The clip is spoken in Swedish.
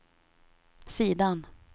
sidan